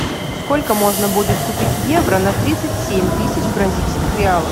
сколько можно будет купить евро на тридцать семь тысяч бразильских реалов